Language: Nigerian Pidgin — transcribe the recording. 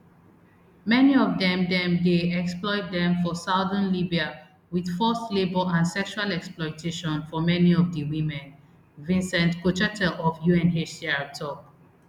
many of dem dem dey exploit dem for southern libya wit forced labour and sexual exploitation for many of di women vincent cochetel of unhcr tok